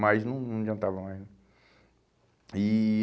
Mas não não adiantava mais né? E